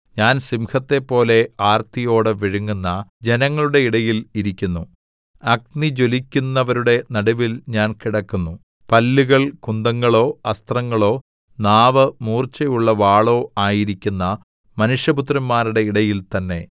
ഞാന്‍ സിംഹത്തേപ്പോലെ ആര്‍ത്തിയോടെ വിഴുങ്ങുന്ന ജനങ്ങളുടെ ഇടയിൽ ഇരിക്കുന്നു അഗ്നിജ്വലിക്കുന്നവരുടെ നടുവിൽ ഞാൻ കിടക്കുന്നു പല്ലുകൾ കുന്തങ്ങളോ അസ്ത്രങ്ങളോ നാവ് മൂർച്ചയുള്ള വാളോ ആയിരിക്കുന്ന മനുഷ്യപുത്രന്മാരുടെ ഇടയിൽ തന്നെ